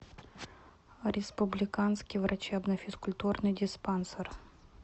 республиканский врачебно физкультурный диспансер